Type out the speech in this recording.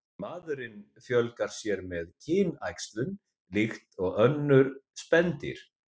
Maðurinn fjölgar sér með kynæxlun líkt og önnur spendýr.